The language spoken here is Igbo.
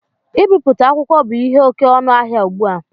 Ibipụta akwụkwọ bu ihe oké ọnụ ahịa ụgbụ a